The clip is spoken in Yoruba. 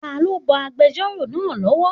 Ta ló bọ agbẹjọ́rò náà lọ́wọ́?